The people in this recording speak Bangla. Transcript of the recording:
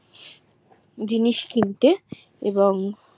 জিনিস কিনতে এবং